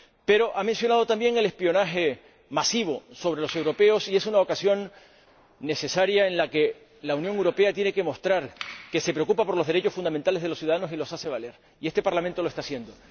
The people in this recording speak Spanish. Pero ha mencionado también el espionaje masivo sobre los europeos, y es una ocasión en la que la Unión Europea tiene que mostrar que se preocupa por los derechos fundamentales de los ciudadanos y los hace valer. Y este Parlamento lo está haciendo.